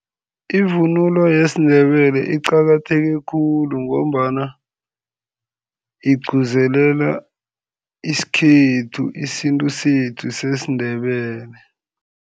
Ivunulo yesiNdebele iqakatheke khulu ngombana igcuzelela isikhethu, isintu sethu sesiNdebele.